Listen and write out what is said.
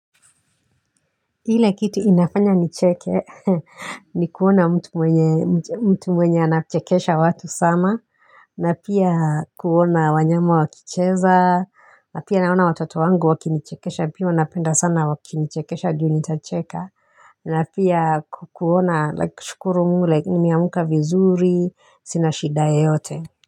Ile kitu inafanya nicheke, ni kuona mtu mwenye anachekesha watu sana, na pia kuona wanyama wakicheza, na pia naona watoto wangu wakinichekesha, pia wanapenda sana wakinichekesha juu nitacheka, na pia kuona, shukuru mungu, ni mieamuka vizuri, sina shida yeyote.